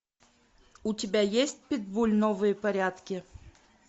у тебя есть питбуль новые порядки